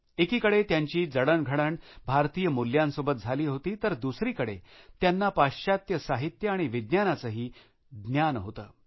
एकीकडे त्यांची जडणघडण भारतीय मुल्यांसोबत झाली होती तर दुसरीकडे त्यांना पाश्चात्य साहित्य आणि विज्ञानाचेही ज्ञान होते